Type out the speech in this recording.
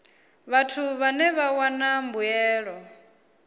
vhathu vhane vha wana mbuelo